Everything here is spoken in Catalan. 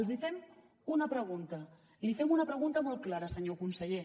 els fem una pregunta li fem una pregunta molt clara senyor conseller